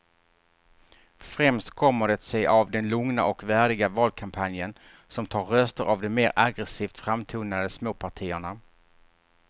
Främst kommer det sig av den lugna och värdiga valkampanjen som tar röster av de mer aggresivt framtonade småpartierna.